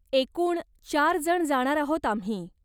एकूण चार जण जाणार आहोत आम्ही.